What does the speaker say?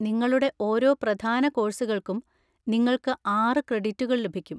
നിങ്ങളുടെ ഓരോ പ്രധാന കോഴ്സുകൾക്കും നിങ്ങൾക്ക് ആറ് ക്രെഡിറ്റുകൾ ലഭിക്കും.